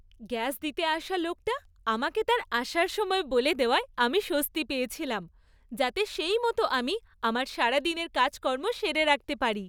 Gas দিতে আসা লোকটা আমাকে তার আসার সময় বলে দেওয়ায় আমি স্বস্তি পেয়েছিলাম, যাতে সেইমত আমি আমার সারাদিনের কাজকর্ম সেরে রাখতে পারি।